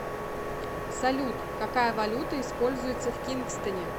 салют какая валюта используется в кингстоне